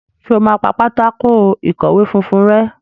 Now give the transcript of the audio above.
Ṣe o má pá Pátákó ìkọ̀wé funfun rè?